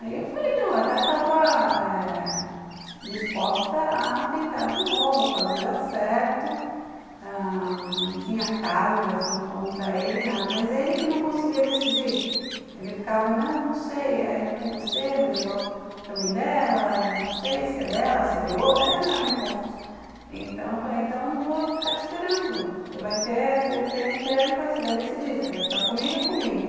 Aí eu falei não, eu até estava eh disposta a tentar de novo, a fazer dar certo, ãh, não tinha carga assim contra ele, nada, mas ele que não conseguia decidir. Ele ficava, não, não sei, é, eu fico com você, mas eu gosto também dela, não sei se é dela, se é de outro, era meio confuso. Então eu falei, então eu não vou ficar te esperando, você vai ter, você tem um tempo aí, você vai decidir, você vai ficar comigo é comigo